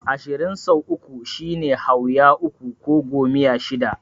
Ashirin sau uku shine Hauya uku ko Gomiya shida.